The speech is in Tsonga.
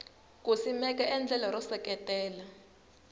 ku simeka endlelo ro seketela